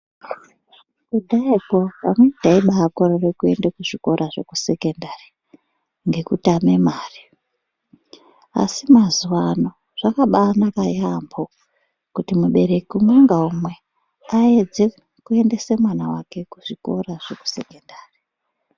kudhaya zviya, amweni taibaakorere kuende kuzvikora zvekusekendari ngekutame mare, asi mazuwaano zvakabaanaka yaampho, kuti mubereki umwe naumwe aedze a kuendese mwana wake, kuzvikora zvekusekendari.